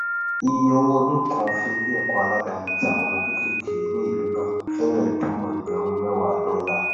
ìye owó ọdún kan fún ileẹkọ aládàní tí àwọn ọmọ kékèéké ní ìlú náà fẹrẹ tó ẹgbẹrún mẹwàá dọlà